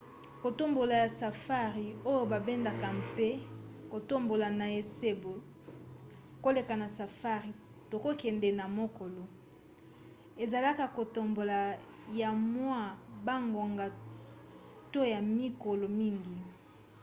kotambola ya safari oyo babengaka mpe kotambola na esobe koleka na safari to kokende na mokolo ezalaka kotambola ya mwa bangonga to ya mikolo mingi